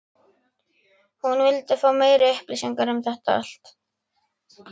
hún vildi fá meiri upplýsingar um þetta allt.